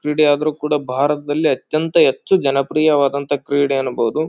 ಕ್ರೀಡೆಯಾದ್ರು ಕೂಡ ಭಾರತದಲ್ಲಿ ಅತ್ಯಂತ ಹೆಚ್ಚು ಜನಪ್ರಿಯ ವಾದಂತ ಕ್ರೀಡೆ ಅನ್ನಬಹುದು.